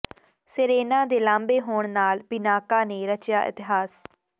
Serena ਦੇ ਲਾਂਭੇ ਹੋਣ ਨਾਲ ਬਿਨਾਕਾ ਨੇ ਰਚਿਆ ਇਤਿਹਾਸ